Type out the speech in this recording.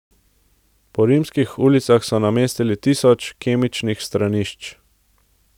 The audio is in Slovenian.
Po rimskih ulicah so namestili tisoč kemičnih stranišč.